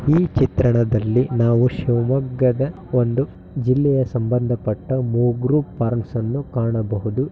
ಈ ಚಿತ್ರಣದಲ್ಲಿ ನಾವು ಶಿವಮೊಗ್ಗದ ಒಂದು ಜಿಲ್ಲೆಯ ಸಂಬಂದಪಟ್ಟ ಮಗ್ರು ಪಾರ್ಮ್‌ಸ್‌ ಅನ್ನು ಕಾಣಬಹುದು.